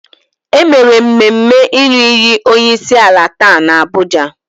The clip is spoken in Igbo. E mere mmemme ịnụ iyi onyeisiala taa n'Abuja.